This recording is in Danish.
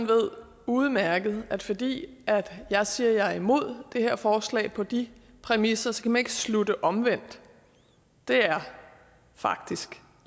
ved udmærket at fordi jeg siger at jeg er imod det her forslag på de præmisser skal man ikke slutte omvendt det er faktisk